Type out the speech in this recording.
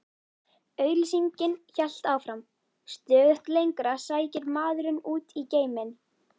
Auglýsingin hélt áfram: Stöðugt lengra sækir maðurinn út í geiminn.